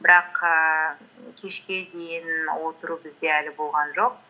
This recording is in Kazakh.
бірақ ііі кешке дейін отыру бізде әлі болған жоқ